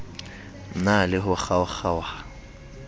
na le ho kgaokg aoha